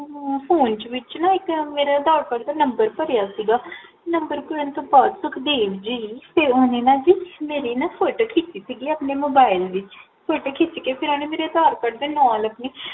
ਅਹ point ਵਿੱਚ ਨਾ ਮੇਰਾ ਆਦਾਰ ਕਾਰਡ ਦਾ Number ਭਰਿਆ ਸੀਗਾ Number ਭਰਨ ਤੋ ਬਾਦ ਸੁਖਦੇਵ ਜੀ ਫੇਰ ਓਹਨਾ ਨਾ ਜੀ ਮੇਰੀ ਨਾ ਫੋਟੋ ਖਿਚ ਲਈ ਸੀ ਜੀ ਆਪਣੇ Mobile ਵਿੱਚ ਫੋਟੋ ਖਿਚ ਕੇ ਫੇਰ ਓਹਨਾ ਮੇਰੇ ਆਦਰ ਕਾਰਡ ਦੇ ਨਾਲ